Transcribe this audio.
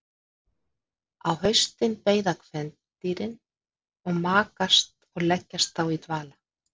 á haustin beiða kvendýrin og makast og leggjast þá í dvala